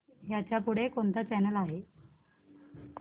ह्याच्या पुढे कोणता चॅनल आहे